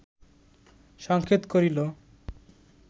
সংকেত করিল